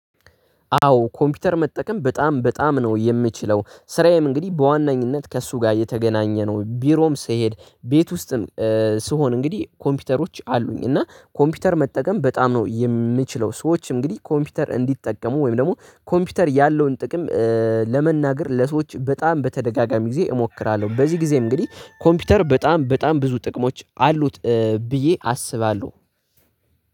አዎ ኮምፒውተር መጠቀም በጣም በጣም ነው የምችለው ስራዬም እንግዲህ በዋናኝነት ከእሱ ጋር የተገናኘ ነው። ቢሮም ስሄድ ቤት ውስጥም ስሆን እንግዲህ ኮምፒውተሮች አሉኝ እና ኮምፒውተር መጠቀም በጣም ነው የምችለው። ሰዎች እንግዲህ ኮምፒውተር እንዲጠቀሙ ወይም ደግሞ ኮምፒውተር ያለውን ጥቅም ለመናገር ለሰዎች በጣም በተደጋጋሚ ጊዜ እሞክራለሁ። በዚህ ጊዜ እንግዲህ ኮምፒውተር በጣም በጣም ብዙ ጥቅሞች አሉት ብዬ አስባለሁ።